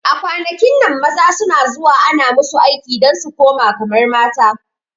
A kwanakin nan maza suna zuwa ana musu aiki dan su kuma kamar mata